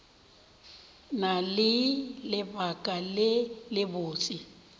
na le lebaka le lebotse